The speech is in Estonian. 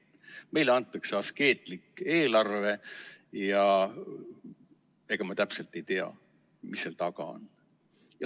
Meile antakse askeetlik eelarve, aga ega me täpselt ei tea, mis seal taga on.